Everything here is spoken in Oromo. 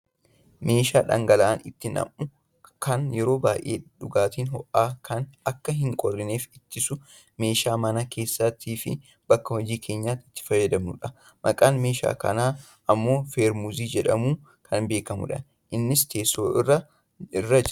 Meeshaa dhangala'aan itti nammu kan yeroo baayyee dhugaatiin ho'aan akka hin qorrineef ittisu meeshaa mana keessattiifi bakka hojii keenyaatti itti fayyadamnudha. Maqaan meeshaa kanaa ammoo Feermuuzii jedhamuun kan beekkamudha. Innis teessoo irra jira.